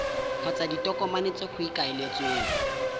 kgotsa ditokomane tse go ikaeletsweng